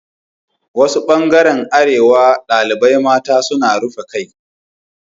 Wasu ɓangaren arewa ɗaliɓan mata sun rufe ƙai